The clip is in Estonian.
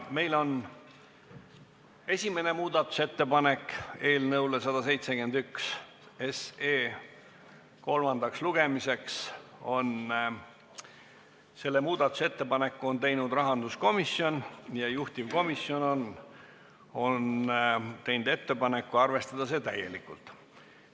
Esimese muudatusettepaneku eelnõu 171 kohta on teinud rahanduskomisjon ja juhtivkomisjon on teinud ettepaneku arvestada seda täielikult.